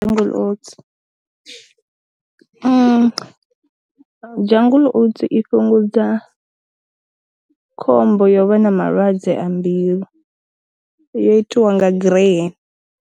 Jungle oats jungle oats i fhungudza khombo ya vha na malwadze a mbilu yo itiwa nga gireyeni.